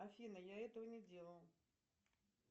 афина я этого не делал